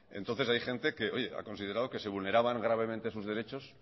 entonces hay gente que oye ha considerado que se vulneraban gravemente sus derechos